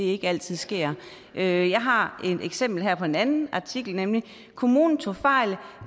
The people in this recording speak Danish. ikke altid sker jeg jeg har et eksempel her fra en anden artikel kommunen tog fejl